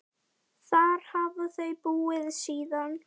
Þar hafa þau búið síðan.